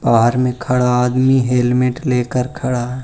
बाहर मे खड़ा आदमी हेलमेट लेकर खड़ा है।